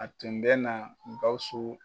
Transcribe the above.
A tun bɛ na Gawusu